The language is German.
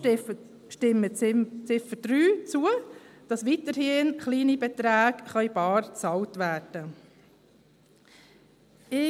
Stimmen Sie deshalb der Ziffer 3 zu, damit kleine Beträge weiterhin bar bezahlt werden können.